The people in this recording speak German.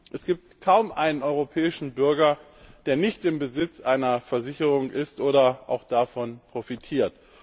Es gibt kaum einen europäischen Bürger, der nicht im Besitz einer Versicherung ist oder auch davon profitiert.